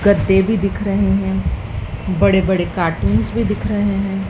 गद्दे भी दिख रहे हैं बड़े बड़े कार्टूंस भी दिख रहे हैं।